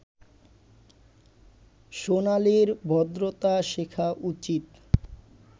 সোনালির ভদ্রতা শেখা উচিত